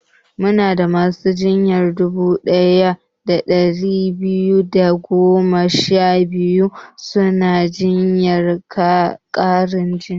Muna da masu jinya dubu ɗaya da ɗari biyar da goma sha biyu suna jiran ƙarin jini